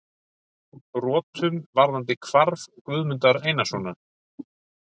brotum varðandi hvarf Guðmundar Einarssonar.